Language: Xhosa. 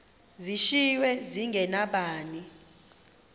zishiywe zinge nabani